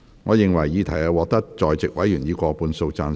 我認為議題獲得在席委員以過半數贊成。